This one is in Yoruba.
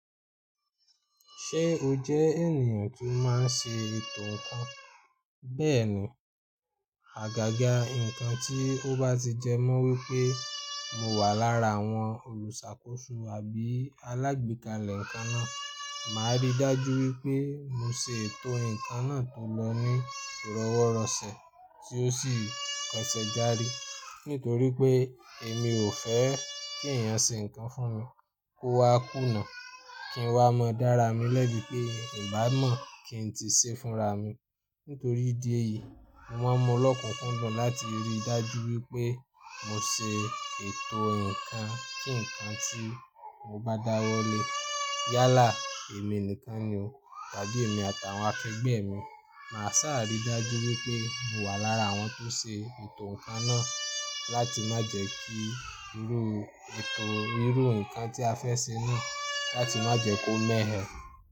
Ṣé o jẹ́ ènìyàn tó má n ṣe ètò ǹkan? Bẹ́ẹ̀ni, àgàgà ǹkan tí ó bá ti jẹ́ mọ́ wípé mo wà lára àwọn olùṣàkóso àbí alágbékalẹ̀ ǹkan náà, màá rí i dájú wípé mo se ètò ǹkan náà tó lọ ní ìrọ́wọ́rọ̀sẹ̀ tí ó sì pẹ̀sẹ̀ jári. Nítorí pé èmi ò fẹ́ kí ẹ̀yàn ṣe ǹkan fún mi kó wá kùnà, kí n wá mọ́ dára mi lẹ́bi pé ìbá mọ̀ kí n ti ṣe fúnra mi. Nítorí ìdí èyí, mo máa ń mu lọ́kùnkúndùn láti rí i dájú wípé mo ṣe ètò ǹkan kí ǹkan tí mo bá dáwọ́lé yálà èmi nìkan ni o, tàbí èmi àtàwọn akẹgbẹ́ mi. Màá sá à rí i dájú wípé mo wà lára àwọn tó ṣe ètò ǹkan náà láti má jẹ́ kí irú ètò irú ǹkan tí a fẹ́ ṣe náà láti má jẹ́ kó mẹ́ẹ́ ẹ.